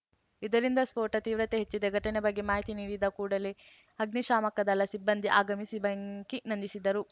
ಇದರಿಂದ ಸ್ಫೋಟ ತೀವ್ರತೆ ಹೆಚ್ಚಿದೆ ಘಟನೆ ಬಗ್ಗೆ ಮಾಹಿತಿ ನೀಡಿದ ಕೂಡಲೇ ಅಗ್ನಿಶಾಮಕ ದಳ ಸಿಬ್ಬಂದಿ ಆಗಮಿಸಿ ಬೆಂಕಿ ನಂದಿಸಿದರು